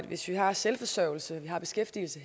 hvis vi har selvforsørgelse og beskæftigelse